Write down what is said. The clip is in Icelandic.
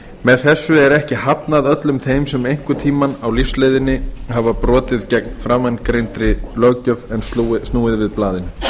með þessu er ekki hafnað öllum þeim sem hafa einhvern tímann á lífsleiðinni brotið gegn framangreindri löggjöf en snúið við blaðinu